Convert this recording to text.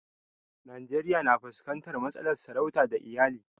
Najeriya na fuskantar matsalar sarauta da ta iyali.